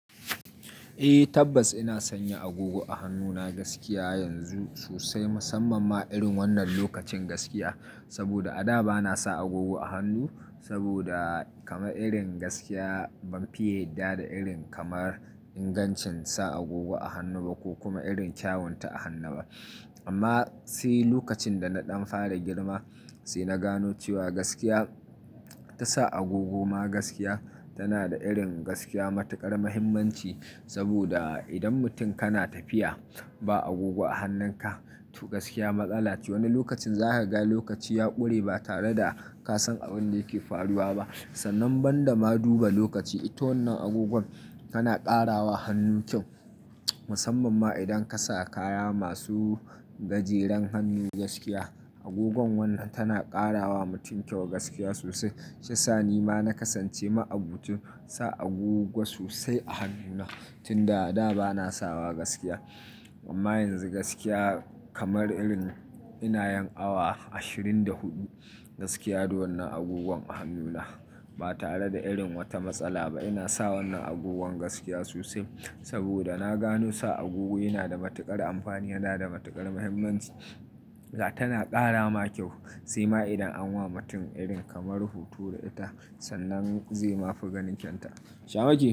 Eh tabbas ina sanya agogo a hannuna gaskiya yanzu sosai, musamman ma irin wannan lokacin gaskiya. Saboda a da bana sa agogo a hannu saboda irin gaskiya ban fiye da irin kamar ingancin sa agogo a hannu ba ko kuma irin kyawunta a hannu ba. Amma sai lokacin da na ɗan fara girma sai na gano cewa gaskiya tasa agogoma gaskiya tana da irin gaskiya matuƙar muhimmanci. Saboda idan mutum kana tafiya ba agogo a hannunka tu gaskiya matsala ce. Wani lokacin za ka ga lokaci ya ƙure ba tare da ka san abin da yake faruwa ba. Sannan banda ma duba lokaci, ita wannan agogon kana ƙarawa hannu kyau musamman ma idan ka sa kaya masu gajeren hannu gaskiya. Agogon wannan tana ƙara wa mutum kyau gaskiya sosai. Sha sa ni ma na kasance ma'abocin sa agogo sosai a hannuna. Tun da a da ba na sawa gaskiya. Amma yanzu gaskiya kamar irin ina yin awa ashirin da huɗu gaskiya da wannan agogon a hannuna ba tare da irin wata matsala ba. Ina sa wannan agogon gaskiya sosai saboda na gano sa agogo yana da matuƙar amfani yana da matuƙar muhimmanci. Tana ƙara ma kyau sai ma idan an wa mutum irin kamar hutu da ita sannan zai ma fi ganin kyanta. Shama kyau?